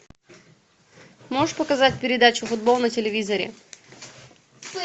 можешь показать передачу футбол на телевизоре